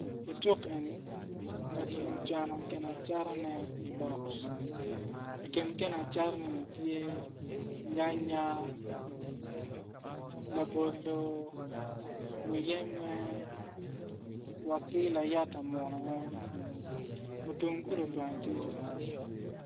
I cuk eni ngat eni ocano ginacatane i bok i kin gin acataneni tye nyanya, labolo muyembe wa ki layata muno weng mutung gulu bene tye.